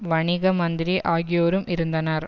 வணிக மந்திரி ஆகியோரும் இருந்தனர்